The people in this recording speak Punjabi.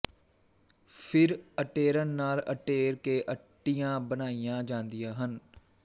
ਫਿਰ ਅਟੇਰਨ ਨਾਲ ਅਟੇਰ ਕੇ ਅੱਟੀਆਂ ਬਣਾਈਆਂ ਜਾਂਦੀਆਂ ਹਨ